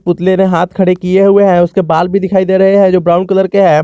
पुतले ने हाथ खड़े किए हुए हैं उसके बाल भी दिखाई दे रहे हैं जो ब्राउन कलर के हैं।